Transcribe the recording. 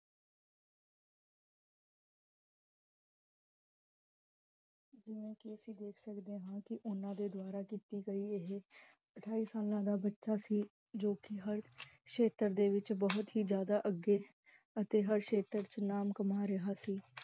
ਅਸੀਂ ਦੇਖ ਸਕਦੇ ਹਾਂ ਕੇ, ਓਨਾ ਦੇ ਦੁਆਰਾ ਕੀਤੀ ਗਈ ਇਹ, ਅਠਾਈ ਸਾਲਾਂ ਦਾ ਬਚਾ ਸੀ ਜੋ ਕੀ ਹਰ ਸ਼ੇਤਰ ਦੇ ਵਿਚ ਬਹੁੱਤ ਹੀ ਜਿਆਦਾ ਅੱਗੇ, ਅਤੇ ਹਰ ਸ਼ੇਤ੍ਰ ਦੇ ਵਿਚ ਨਾਮ ਕਮਾ ਰਿਹਾ ਸੀ